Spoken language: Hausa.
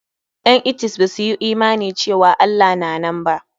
Ƴan etist ba su yi imani cewa Allah na nan ba.